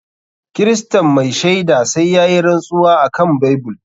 Kiristan mai shaida sai yayi rantsuwa akan bible.